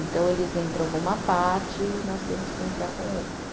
Então, eles entram numa parte e nós temos que entrar com outra.